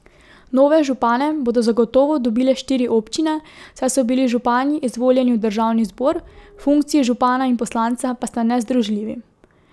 Nove župane bodo zagotovo dobile štiri občine, saj so bili župani izvoljeni v državni zbor, funkciji župana in poslanca pa sta nezdružljivi.